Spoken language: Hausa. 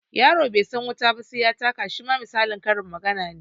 Yaro bai san wuta ba sai ya taka shima misalin karin magana ne